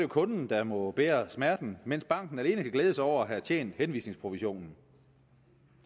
kunden der må bære smerten mens banken alene kan glæde sig over at have tjent henvisningsprovisionen